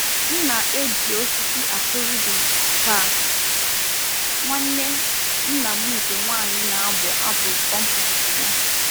M na-eji osisi aku rhythm ka nwanne nna m nke nwanyị na-abụ abụ compost ya.